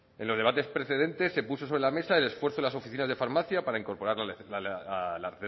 en los debates precedentes se puso sobre la mesa el esfuerzo de las oficinas de farmacia para incorporar la